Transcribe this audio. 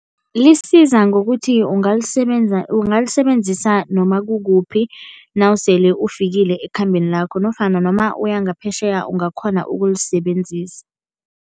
Lisiza ngokuthi ungalisebenzisa noma kukuphi nawusele ufikile ekhambeni lakho nofana noma uyangaphetjheya ungakghona ukulisebenzisa.